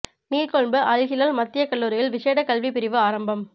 நீர்கொழும்பு அல் ஹிலால் மத்தியக் கல்லூரியில் விஷேட கல்விப் பிரிவு ஆரம்பம்